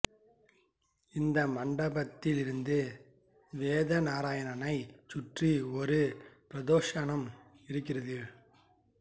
இந்த மண்டபத்திலிருந்து வேத நாராயணனைச் சுற்றி ஒரு பிரதக்ஷிணம் இருக்கிறது